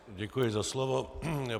Děkuji za slovo.